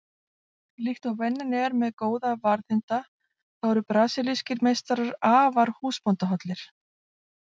Líkt og venjan er með góða varðhunda þá eru brasilískir meistarar afar húsbóndahollir.